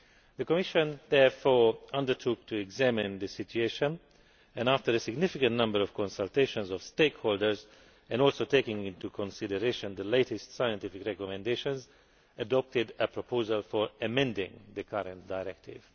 The Commission therefore undertook to examine the situation and, after a significant number of consultations with stakeholders, and also taking into consideration the latest scientific recommendations, adopted a proposal for amending the current directive.